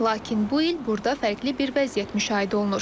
Lakin bu il burda fərqli bir vəziyyət müşahidə olunur.